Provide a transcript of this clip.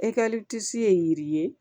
ye yiri ye